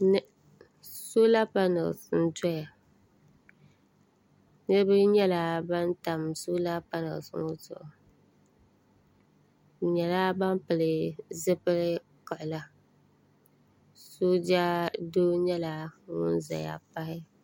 Sola panali niriba nyɛla ban tam sola panali ŋɔ zuɣu bɛ nyɛla ban pili zipil'kiɣila sooja doo nyɛla ŋun zaya pahi.